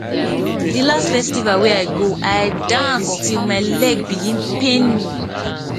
di last festival wey i go i dance till my leg begin pain me